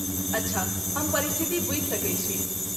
अच्छा, हम परिस्थिति बूझि सकैत छी।